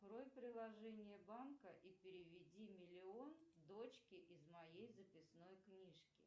открой приложение банка и переведи миллион дочке из моей записной книжки